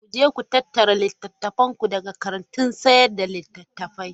Ku je ku tattara littattafanku daga kantin sayar da littattafai!